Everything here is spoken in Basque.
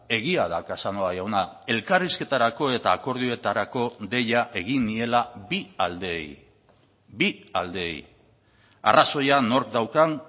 egia da casanova jauna elkarrizketarako eta akordioetarako deia egin niela bi aldeei bi aldeei arrazoia nork daukan